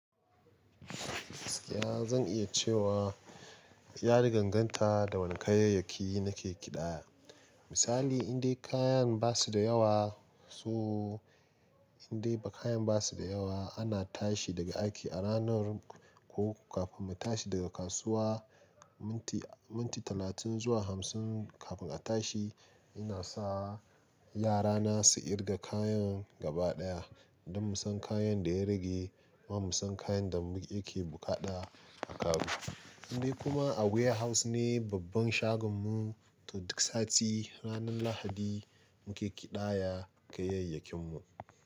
Ya zan iya cewa yari ganganta da wani kayayyaki na ke kiɗa. Misali in dai kayan ba su da yawa, so in dai ba kayan ba su da yawa ana tashi daga aiki a ranar ko kafin mu tashi daga kasuwa. Minti, minti talatin zuwa hamsin kafin a tashi. Ina sa yara na su irga kayan gaba ɗaya don mu san kayan da ya rage, kuma mu san kayan da muke buƙaɗa a karo. Indai kuma a warehouse ne babban shagon mu duk sati ranar Lahadi muke ƙidaya kayayyakin mu.